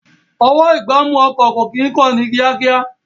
Ọwọ́-ìgbámú ọkọ̀ kò kí ń kán ní kíákíá